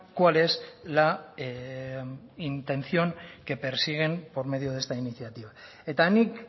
cuál es la intención que persiguen por medio de esta iniciativa eta nik